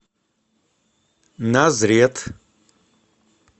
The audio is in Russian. назрет